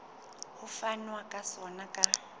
ho fanwa ka sona ka